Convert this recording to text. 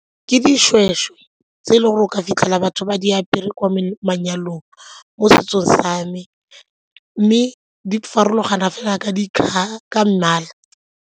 Ke dishweshwe tse e le gore o ka fitlhela batho ba di apere kwa manyalong mo setsong sa me mme di farologana fela ka mmala.